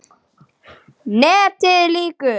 NETIÐ LÝKUR